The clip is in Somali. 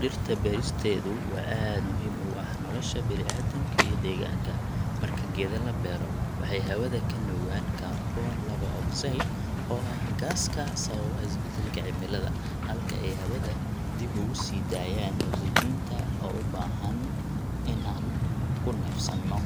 Dhirta beeristeedu waa aad muhiim ugu ah nolosha bini'aadamka iyo deegaanka. Marka geeda la beero, waxay hawada ka nuugaan kaarboon laba ogsaydh oo ah gaaska sababa isbedelka cimilada, halka ay hawada dib ugu sii daayaan ogsajiinta oo u baahan in aan ku neefsanno.